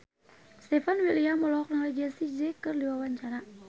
Stefan William olohok ningali Jessie J keur diwawancara